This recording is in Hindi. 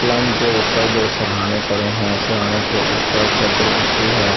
पलंग के ऊपर दो सरहाने पड़े है सरहाने के ऊपर चद्दर बिछी है उसके --